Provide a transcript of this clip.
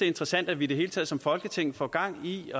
interessant at vi i det hele taget som folketing får gang i